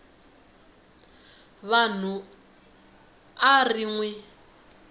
vanhu a ri n wi